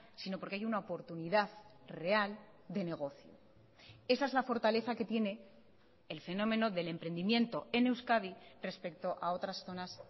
sino porque hay una oportunidad real de negocio esa es la fortaleza que tiene el fenómeno del emprendimiento en euskadi respecto a otras zonas